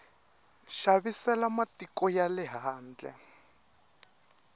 xavisela matiko ya le handle